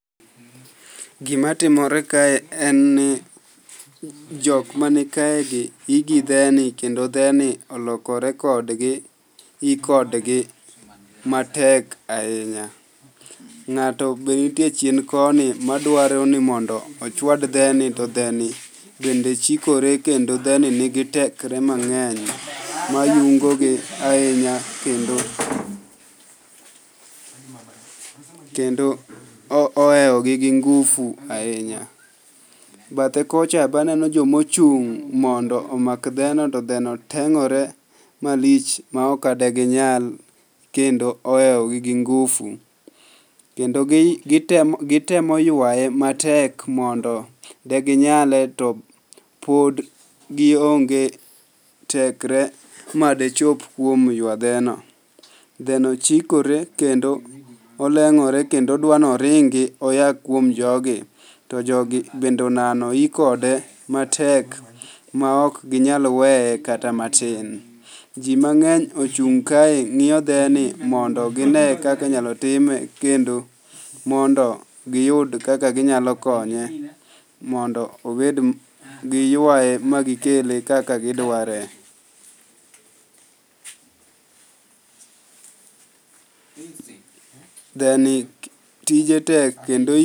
Gimatimore kae en ni jok manikaegi i gi dheni kendo dheni olokore kodgi i kodgi matek ahinya. Ng'ato be nitie chien koni madwaro ni mondo ochwad dheni to dheni bende chikore kendo dheni nigi tekre mang'eny mayungogi ahinya kendo ohewogi gi ngufu ahinya. Bathe kocha be aneno jomochung' mondo omak dheno to dheno teng'ore malich ma okade ginyal kendo ohewogi gi ngufu. Kendo gitemo ywaye matek mondo deginyale to pod gionge tekre madechop kuom ywa dheno. Dheno chikore kendo oleng'ore kendo odwa noringi oya kuom jogi, to jogi bende onano yi kode matek ma ok ginyal weye kata matin. Ji mang'eny ochung' kae ng'iyo dheni mondo gine kaka inyalo time kendo mondo giyud kaka ginyalo konye mondo giywaye magikele kaka gidware.